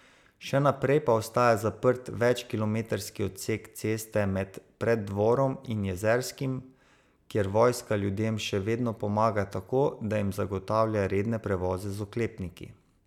Še naprej pa ostaja zaprt več kilometrski odsek ceste med Preddvorom in Jezerskim, kjer vojska ljudem še vedno pomaga tako, da jim zagotavlja redne prevoze z oklepniki.